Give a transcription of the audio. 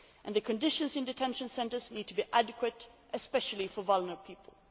The conditions in detention centres need to be adequate, especially for vulnerable people.